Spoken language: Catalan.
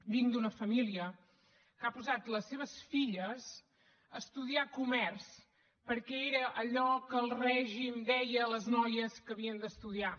vinc d’una família que ha posat les seves filles a estudiar comerç perquè era allò que el règim deia a les noies que havien d’estudiar